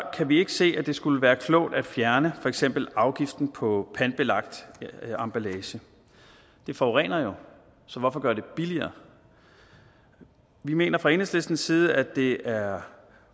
vi ikke se at det skulle være klogt at fjerne for eksempel afgiften på pantbelagt emballage det forurener jo så hvorfor gøre det billigere vi mener fra enhedslistens side at det desuden er